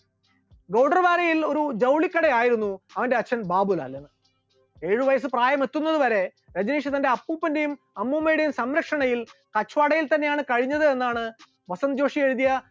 ഗോർഡർവാലയിൽ ഒരു ജൗളിക്കട ആയിരുന്നു അവന്റെ അച്ഛൻ ബാബുലാലിന് ഉണ്ടായിരുന്നത്, ഏഴ് വയസ്സ് പ്രായം എത്തുന്നതുവരെ രജനീഷ് തന്റെ അപ്പൂപ്പന്റെയും അമ്മൂമ്മയുടെയും സംരക്ഷണയിൽ അച്ചുവാടയിൽ തന്നെയാണ് കഴിഞ്ഞത് എന്നാണ് വാസത്യജോഷി എഴുതിയ